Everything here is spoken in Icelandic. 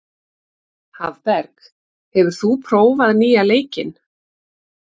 Hafberg, hefur þú prófað nýja leikinn?